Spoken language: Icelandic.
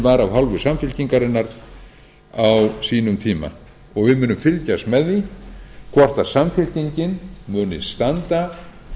var af hálfu samfylkingarinnar á sínum tíma og við munum fylgjast með því hvort samfylkingin muni standa